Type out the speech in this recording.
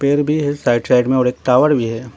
भी है side side में और एक टावर भी है।